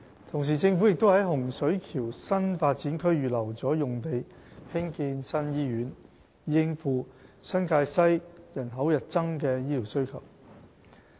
同時，政府也在洪水橋新發展區預留了用地興建新醫院，以應付新界西人口日增的醫療需求。